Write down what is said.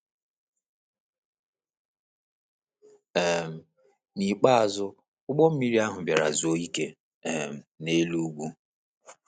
um N’ikpeazụ, ụgbọ mmiri ahụ bịara zuo ike um n’elu ugwu.